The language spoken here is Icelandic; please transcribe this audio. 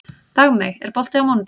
Dagmey, er bolti á mánudaginn?